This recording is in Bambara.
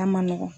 A man nɔgɔn